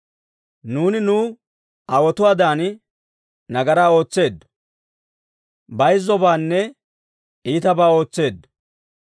Nuuni nu aawotuwaadan nagaraa ootseeddo; bayzzobaanne iitabaa ootseeddo.